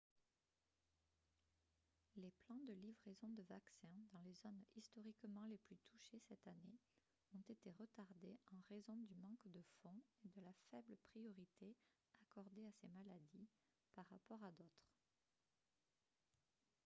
les plans de livraison de vaccins dans les zones historiquement les plus touchées cette année ont été retardés en raison du manque de fonds et de la faible priorité accordée à ces maladies par rapport à d'autres